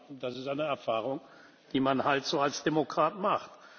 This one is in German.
Aber das ist eine Erfahrung, die man halt so als Demokrat macht.